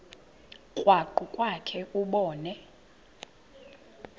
krwaqu kwakhe ubone